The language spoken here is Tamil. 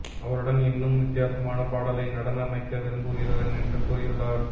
அவருடன் இன்னும் வித்தியாசமான பாடலை நடன அமைக்க விரும்புகிறேன் என்று கூறியுள்ளார்